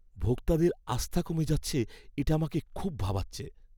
ভোক্তাদের আস্থা কমে যাচ্ছে, এটা আমাকে খুব ভাবাচ্ছে।